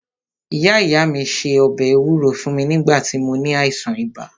Ìyá ìyá mí se ọbẹ̀ ewúro fún mí nígbà tí mó ní àìsàn ibà.